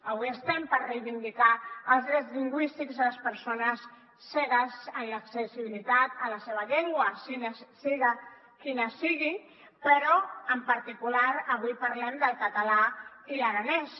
avui estem per reivindicar els drets lingüístics de les persones cegues en l’accessibilitat en la seva llengua sigui quina sigui però en particular avui parlem del català i l’aranès